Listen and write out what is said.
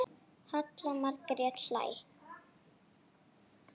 Halla Margrét hlær.